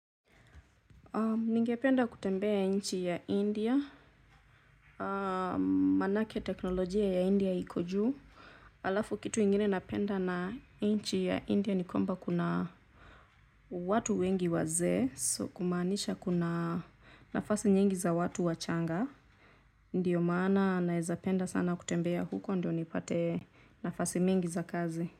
Ningependa kutembea nchi ya India, manake teknolojia ya India iko juu. Halafu kitu ingine napenda na nchi ya India ni kwamba kuna watu wengi wazee, kumaanisha kuna nafasi nyingi za watu wachanga ndiyo maana nawezapenda sana kutembea huko ndio nipate nafasi mingi za kazi.